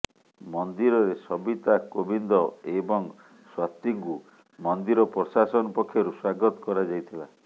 ମନ୍ଦିରରେ ସବିତା କୋବିନ୍ଦ ଏବଂ ସ୍ବାତିଙ୍କୁ ମନ୍ଦିର ପ୍ରଶାସନ ପକ୍ଷରୁ ସ୍ବାଗତ କରାଯାଇଥିଲା